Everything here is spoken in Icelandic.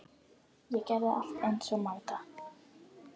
Ég gerði allt eins og Magda.